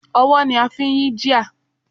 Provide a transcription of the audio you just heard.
Ọwọ́ ni a fi ń yí gear.